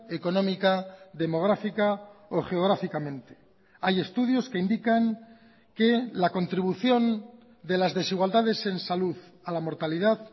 económica demográfica o geográficamente hay estudios que indican que la contribución de las desigualdades en salud a la mortalidad